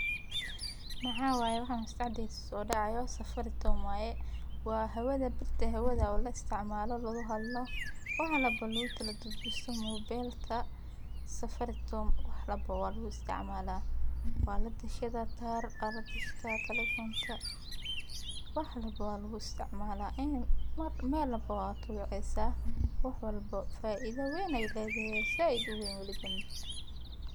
Maxaway waxa uuna isticmaali doonaa oo dhaqaysto safaricom waa hawada birta hawada ula isticmaalo la kuhadlo, wax walba luuta la dudisi mobeelta, safaricom wax walba waal u isticmaalaa, waa la dhashay taar aad u dhashay taa taleefanta, wax walba loo isticmalaa in mar meelo walba aya wacaysan yahay wax walbo faa'iido wayn ay leedahay zaidu weyn u libeen.